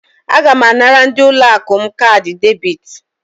Aga m anara ndị ụlọ akụ m kaadị debit.